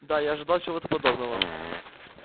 да я ожидал чего-то подобного